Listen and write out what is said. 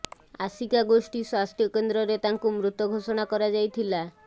ଆସିକା ଗୋଷ୍ଠୀ ସ୍ବାସ୍ଥ୍ୟ କେନ୍ଦ୍ରରେ ତାଙ୍କୁ ମୃତ ଘୋଷଣା କରାଯାଇଥିଲ